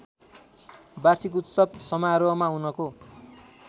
वार्षिकोत्सव समारोहमा उनको